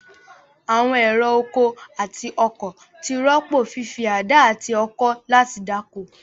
Àwọn ẹ̀rọ oko àti ọkọ̀ ti rọ́pò fífi àdá àti ọkọ́ láti dáko.